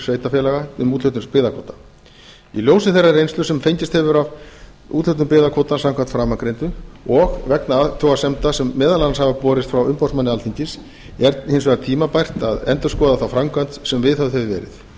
sveitarfélaga um úthlutun byggðakvóta í ljósi þeirrar reynslu sem fengist hefur af úthlutun byggðakvóta samkvæmt framangreindu og vegna athugasemda sem meðal annars hafa borist frá umboðsmanni alþingis er hins vegar tímabært að endurskoða þá framkvæmd sem viðhöfð hefur verið